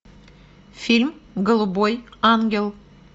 фильм голубой ангел